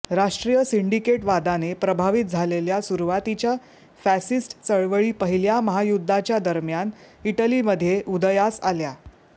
राष्ट्रीय सिंडिकेटवादाने प्रभावित झालेल्या सुरुवातीच्या फॅसिस्ट चळवळी पहिल्या महायुद्धाच्या दरम्यान इटलीमध्ये उदयास आल्या